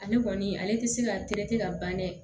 Ale kɔni ale tɛ se ka ka ban dɛ